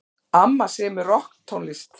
Amma semur rokktónlist.